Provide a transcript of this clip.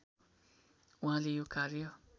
उहाँले यो कार्य